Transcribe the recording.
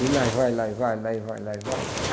E lá e vai, lá e vai, lá e vai, lá e vai.